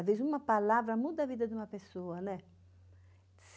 Às vezes, uma palavra muda a vida de uma pessoa, né?